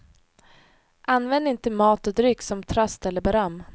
Använd inte mat och dryck som tröst eller beröm.